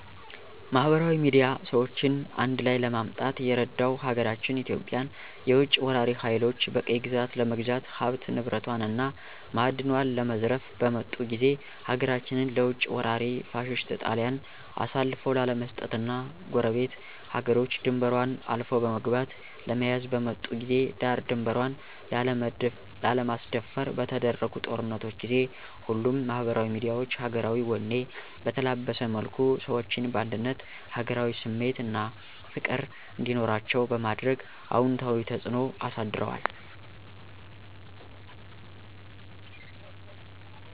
ማህበራዊ ሚድያ ሰዎችን አንድላይ ለማምጣት የረዳው ሀገራችን ኢትዮጵያን የውጭ ወራሪ ሀይሎች በቅኝ ግዛት ለመግዛት ሀብት ንብረቷን እና ማእድኗን ለመዝረፍ በመጡ ጊዜ ሀገራችንን ለውጭ ወራሪ ፋሽስት ጣሊያን አሳልፎ ላለመስጠት እና ጎረቤት ሀገሮች ድንበሯን አልፎ በመግባት ለመያዝ በመጡ ጊዜ ዳር ድንበሯን ላለማስደፈር በተደረጉ ጦርነቶች ጊዜ ሁሉም ማህበራዊ ሚዲያዎች ሀገራዊ ወኔ በተላበሰ መልኩ ሰዎችን በአንድነት ሀገራዊ ስሜት አና ፍቅር እንዲኖራቸዉ በማድረግ አወንታዊ ተጽእኖ አሳድረዋል።